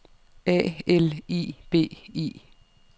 A L I B I